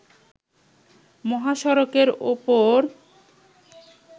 মহাসড়কের ওপর